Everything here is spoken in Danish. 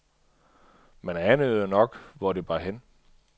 Man anede jo nok, hvor det bar hen.